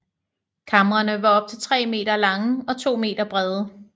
Kamrene var op til 3 meter lange og 2 meter brede